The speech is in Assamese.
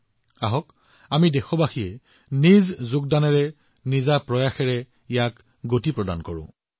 আহক আমি সকলোৱে যিমান পাৰোঁ এই গতি গ্ৰহণ কৰোঁ আৰু সবকা প্ৰয়াসৰ এই মন্ত্ৰেৰে ইয়াক উপলব্ধি কৰি ইয়াত অৱদান আগবঢ়াওঁ